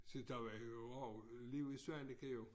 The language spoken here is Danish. Se der var jo også liv i Svaneke jo